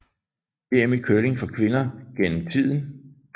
VM i curling for kvinder gennem tiden